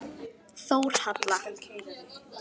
Þórhalla